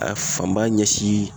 A fanba ɲɛsin